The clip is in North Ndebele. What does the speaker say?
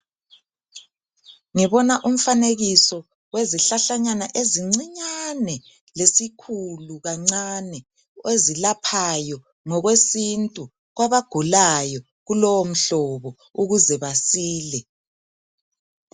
Ngibona umfanekiso wezihlahlanyana ezincinyane lesikhulu kancane ezilaphayo ngokwesintu kwabagulayo kulowo mhlobo ukuze basile.